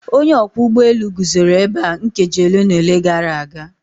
Onye ọkwọ ụgbọ elu guzoro ebe a nkeji ole na ole gara aga.